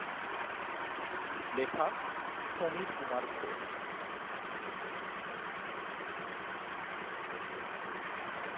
লেখা সমীর কুমার ঘোষ।